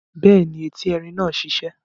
Bẹ́ẹ̀ni, eti erin náà sisẹ́